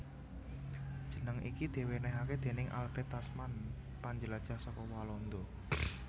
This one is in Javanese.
Jeneng iki diwènèhké déning Albert Tasman panjelajah saka Walanda